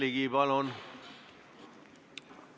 Aitäh!